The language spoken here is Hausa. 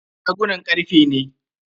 Shagunan karfe ne.